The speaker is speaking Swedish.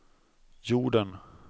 jorden